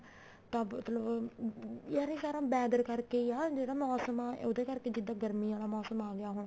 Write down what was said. ਤਾਂ ਮਤਲਬ ਅਮ ਯਾਰ ਇਹ ਸਾਰਾ weather ਕਰਕੇ ਹੀ ਆ ਮੋਸਮ ਆ ਉਹਦੇ ਕਰਕੇ ਜਿੱਦਾਂ ਗਰਮੀ ਆਲਾ ਮੋਸਮ ਆ ਗਿਆ ਹੁਣ